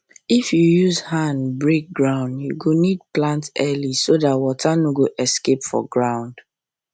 if you use hand break ground you go need plant early so that water no go escape for ground